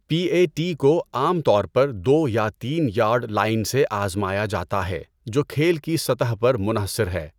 P A T کو عام طور پر دو یا تین یارڈ لائن سے آزمایا جاتا ہے جو کھیل کی سطح پر منحصر ہے۔